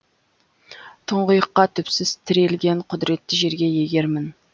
тұңғиыққа түпсіз тірелген құдіретті жерге егермін